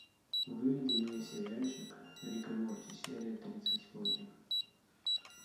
выведи мне сериальчик рик и морти серия тридцать восемь